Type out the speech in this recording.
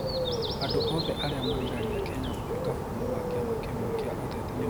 Andũ oothe aria magiragia Kenya gũtwika bũrũrĩ wa kiama kimwe kia uteti nimathutokanitio.